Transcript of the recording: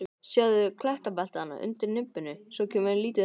Sjáðu klettabeltið þarna undir nibbunni, svo kemur lítill steinn.